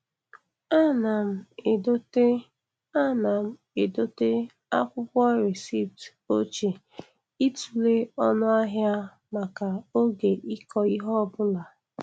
Ana m edote Ana m edote akwụkwọ recipt ochie ịtụle oọnụ ahia maka oge ịkọ ihe ọbụla.